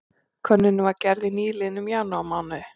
Könnunin var gerð í nýliðnum janúarmánuði